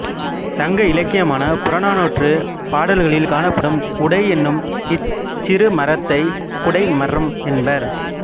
சங்க இலக்கியமான புறநானூற்றுப் பாடல்களில் காணப்படும் உடை என்னும் இச் சிறுமரத்தைக் குடை மரம் என்பர்